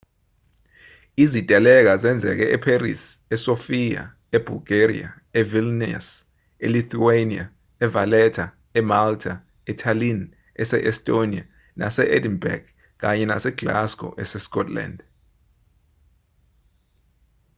iziteleka zenzeke epherisi e-sofia e-bulgaria, e-vilnius e-lithuania e-valetta emalta etallinn ese-estonia nase-edinburgh kanye nase-glasgow ese-scotland